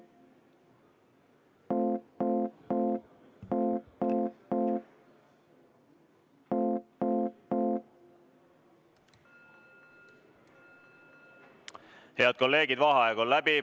Head kolleegid, vaheaeg on läbi.